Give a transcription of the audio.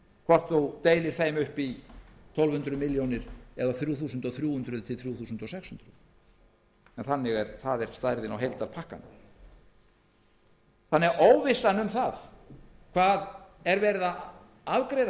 hvort menn deila þeim upp í tólf hundruð milljónir eða þrjú þúsund þrjú hundruð til þrjú þúsund sex hundruð en það er stærðin á heildarpakkanum óvissan um hvað verið er að afgreiða